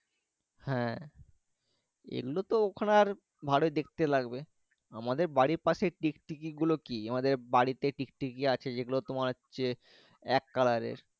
হ্যাঁ এগুলো তো ওখানে আর ভালো দেখতে লাগবে আমাদের বাড়ি পাশে টিকটিকি গুলো কি আমাদের বাড়িতে আছে যে গুলো তোমার হচ্ছে এক কালের এর।